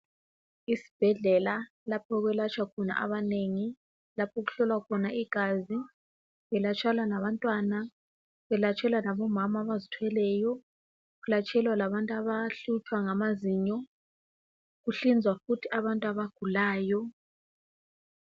Isibhedlela lapho okwelatshwa khona abanengi laphokuhlolwa khona igazi kulatshelwa labantwana kulatshelwa labomama abazithweleyo kulatshelwa labantu abahlutshwa ngamazinyo, kuhlinzwa futhi abantu abagulayo.